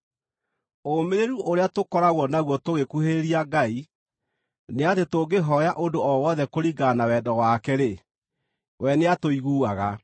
Ũũmĩrĩru ũrĩa tũkoragwo naguo tũgĩkuhĩrĩria Ngai nĩ atĩ tũngĩhooya ũndũ o wothe kũringana na wendo wake-rĩ, we nĩatũiguaga.